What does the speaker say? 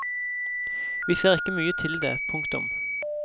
Vi ser ikke mye til det. punktum